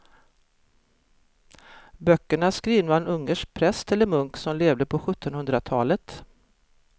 Böckerna är skrivna av en ungersk präst eller munk som levde på sjuttonhundratalet.